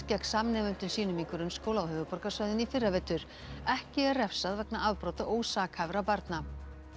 gegn samnemendum sínum í grunnskóla á höfuðborgarsvæðinu í fyrravetur ekki er refsað vegna afbrota ósakhæfra barna